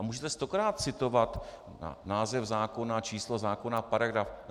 A můžete stokrát citovat název zákona, číslo zákona, paragraf.